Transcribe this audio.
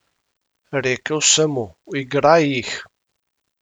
Rekel sem mu: 'Igraj jih'.